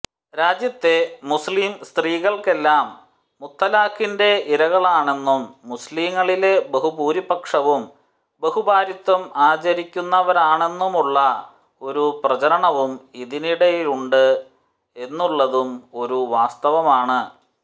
രാജ്യത്തെ മുസ്ലിം സ്ത്രീകളെല്ലാം മുത്തലാഖിന്റെ ഇരകളാണെന്നും മുസ്ലിംങ്ങളിലെ ബഹുഭൂരിപക്ഷവും ബഹുഭാര്യാത്വം ആചരിക്കുന്നവരാണെന്നുമുള്ള ഒരു പ്രചരണവും ഇതിനിടെയുണ്ട് എന്നുള്ളതും ഒരു വാസ്തവമാണ്